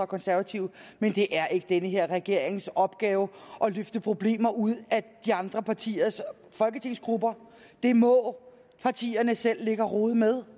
konservative men det er ikke denne her regerings opgave at løfte problemerne ud af andre partiers folketingsgrupper det må partierne selv ligge og rode med